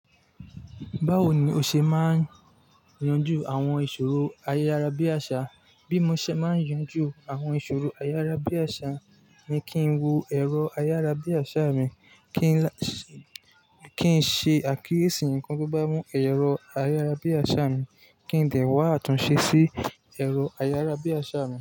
Báwo ni o ṣe máa yanjú àwọn ìṣòro ayárabíàṣá? Bí mo ṣe máa yanjú àwọn ìṣòro ayárabíàṣá ni kí n wo ẹ̀rọ ayárabíàṣá mi, kí n ṣe àkíyèsí nǹkan tó bá mú ẹ̀rọ ayárabíàṣá mi, kí n dẹ̀ wá àtúnṣe sí ẹ̀rọ ayárabíàṣá mi.